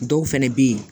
Dɔw fɛnɛ bɛ ye